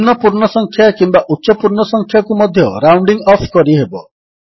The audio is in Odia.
ନିମ୍ନ ପୂର୍ଣ୍ଣ ସଂଖ୍ୟା କିମ୍ୱା ଉଚ୍ଚ ପୂର୍ଣ୍ଣ ସଂଖ୍ୟାକୁ ମଧ୍ୟ ରାଉଣ୍ଡିଙ୍ଗ୍ ଅଫ୍ କରିହେବ